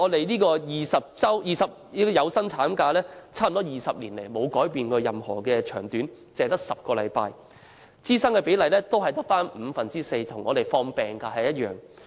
然而，我們的有薪產假待遇近20年沒有改變，一直只有10星期，支薪比例只有五分之四，跟放取病假一樣。